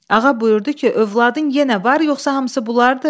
Ağa buyurdu ki, övladın yenə var, yoxsa hamısı bunlardır?